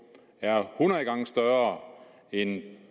er hundrede gange større end